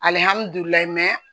Alihamudulila